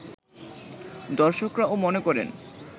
দর্শকরাও মনে করেন